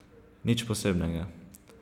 Nič posebnega.